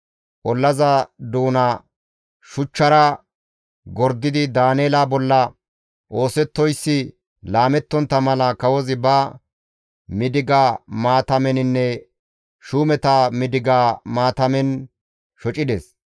Ollaza doona shuchchara gordidi Daaneela bolla oosettoyssi laamettontta mala kawozi ba midiga maatameninne shuumeta midiga maatamen shocides.